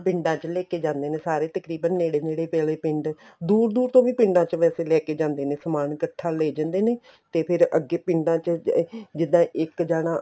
ਪਿੰਡਾਂ ਚ ਲੈਕੇ ਜਾਂਦੇ ਨੇ ਸਾਰੇ ਤਕਰੀਬਨ ਨੇੜੇ ਨੇੜੇ ਆਲੇ ਪਿੰਡ ਦੂਰ ਦੂਰ ਤੋਂ ਵੀ ਪਿੰਡ ਚ ਵੈਸੇ ਲੈਕੇ ਜਾਂਦੇ ਨੇ ਸਮਾਨ ਇੱਕਠਾ ਲੇ ਜਾਂਦੇ ਨੇ ਤੇ ਫ਼ਿਰ ਅੱਗੇ ਪਿੰਡਾ ਚ ਜਿੱਦਾਂ ਇੱਕ ਜਾਣਾ